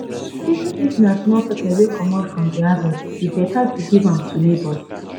even if na small pepper wey comot from de harvest e beta to give am to neighbors.